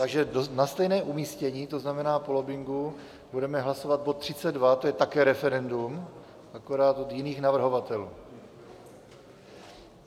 Takže na stejné umístění, to znamená po lobbingu, budeme hlasovat bod 32, to je také referendum, akorát od jiných navrhovatelů.